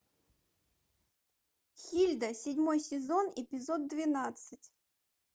хильда седьмой сезон эпизод двенадцать